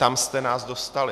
Tam jste nás dostali.